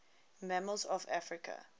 mammals of africa